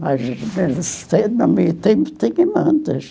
Mas,